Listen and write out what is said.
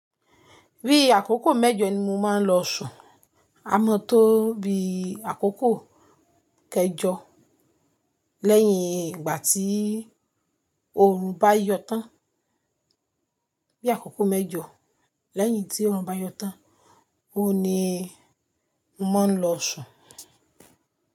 Bí àkókò mẹ́jọ ni mo máa ń lọ ṣùn, a mọ̀ tó bí àkókò kẹjọ lẹ́yìn ìgbà tí oòrùn bá yọ tán. Bí àkókò mẹ́jọ lẹ́yìn tí oòrùn bá yọ tán, óun ni mo máa ń lọ ṣù.